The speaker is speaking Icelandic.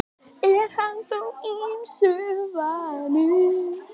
Er hann þó ýmsu vanur.